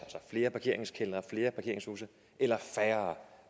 flere parkeringskældre flere parkeringshuse eller færre